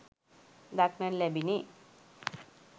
දක්නට ලැබිණි